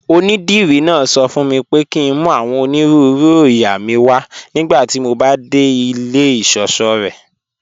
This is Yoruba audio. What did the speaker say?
Ọnídírí náà sọ fún mí pé kí n mú awọn onírùúrù oóyà mí wà nigbàtí mó bá de ilẹ̀ ìṣọṣọ̀ rẹ́.